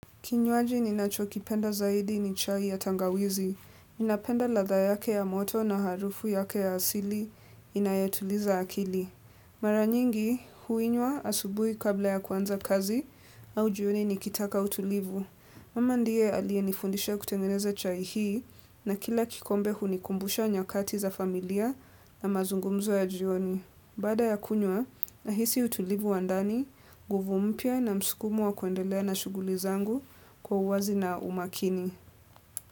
Kinywaji ninachokipenda zaidi ni chai ya tangawizi. Ninapenda ladha yake ya moto na harufu yake ya asili inayotuliza akili. Maranyingi huinywa asubuhi kabla ya kuanza kazi au jioni nikitaka utulivu. Mama ndiye aliye nifundisha kutengeneze chai hii na kila kikombe hunikumbusha nyakati za familia na mazungumzo ya jioni. Baada ya kunywa, nahisi utulivu wandani, nguvu mpya na msukumo wa kuendelea na shughuli zangu kwa uwazi na umakini.